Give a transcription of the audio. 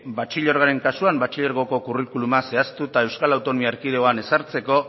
batxilergoaren kasuan batxilergoko kurrikuluma zehaztu eta euskal autonomia erkidegoan ezartzeko